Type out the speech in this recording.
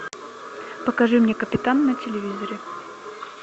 покажи мне капитан на телевизоре